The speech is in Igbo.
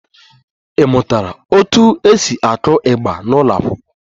Ị mụtara otú e si aku igba n'ụlọ akwụkwọ?